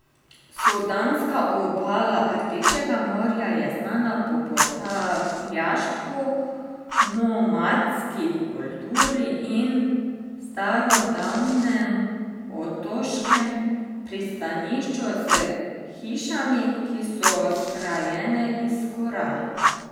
Sudanska obala Rdečega morja je znana po potapljaštvu, nomadski kulturi in starodavnem otoškem pristanišču s hišami, ki so zgrajene iz koral.